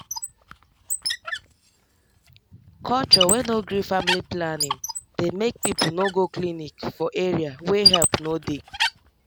culture wey no gree family planning dey make people no go clinic for area wey help no dey